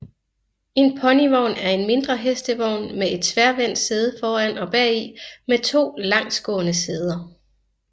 En ponyvogn er en mindre hestevogn med et tværvendt sæde foran og bagi med to langsgående sæder